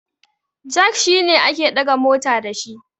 jak shi ake daga mota da shi